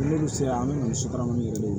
N'olu sera an bɛ sukaro yɛrɛ ye